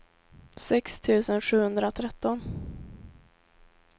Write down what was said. sex tusen sjuhundratretton